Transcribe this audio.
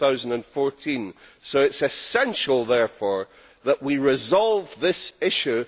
2014. It is essential, therefore, that we resolve this issue.